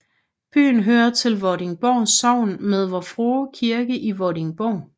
Byen hører til Vordingborg Sogn med Vor Frue Kirke i Vordingborg